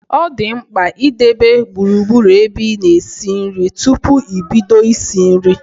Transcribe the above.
Ọ dị mkpa ị debe gburugburu ebe ị na esi nri tupu i bido isi nri